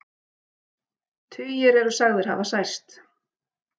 Tugir eru sagðir hafa særst